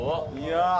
Ya həbibi!